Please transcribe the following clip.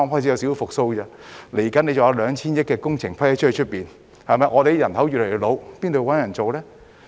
接下來還有 2,000 億元工程批出，而我們的人口越來越老，如何找人工作呢？